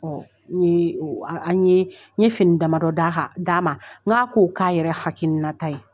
Ɔ nye an ye n ye fini damadɔ d'a kan d'a ma n k'a ko kɛ a yɛrɛ hakilinata ye